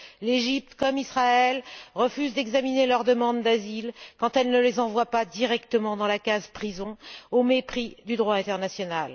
L'Égypte comme Israël refusent d'examiner leurs demandes d'asile, quand ils ne les envoient pas directement à la case prison, au mépris du droit international.